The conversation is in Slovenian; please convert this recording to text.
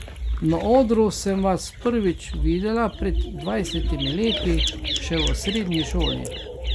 Na odru sem vas prvič videla pred dvajsetimi leti, še v srednji šoli.